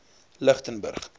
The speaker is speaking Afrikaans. lichtenburg